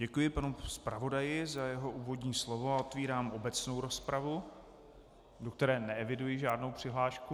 Děkuji panu zpravodaji za jeho úvodní slovo a otevírám obecnou rozpravu, do které neeviduji žádnou přihlášku.